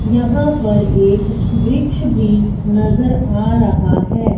यहां पर एक वृक्ष भी नजर आ रहा है।